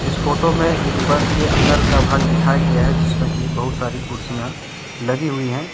इस फोटो में एक बस के अन्दर का भाग दिखाया गया है जिसमें की बहुत सारी कुर्सियां लगी हुई हैं।